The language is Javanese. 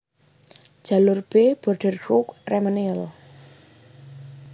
Jalur B Borderouge Ramonville